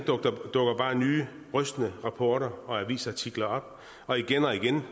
nye rystende rapporter og avisartikler op og igen og igen